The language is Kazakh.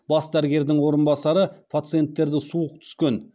бас дәрігердің орынбасары пациенттерді суық түскен